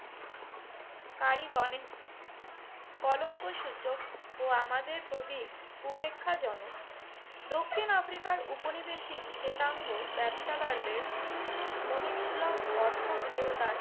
কারীগণের কলংকসূচক ও আমাদের প্রতি উপেক্ষাজনক। দক্ষিণ আফ্রিকার উপনিবেশিক শেতাঙ্গ ব্যবসাদারদের মনিকসুলভ অর্থ গৃহতার